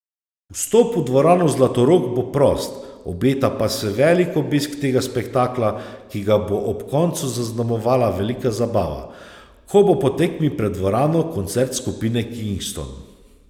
Vstop v dvorano Zlatorog bo prost, obeta pa se velik obisk tega spektakla, ki ga bo ob koncu zaznamovala velika zabava, ko bo po tekmi pred dvorano koncert skupine Kingston.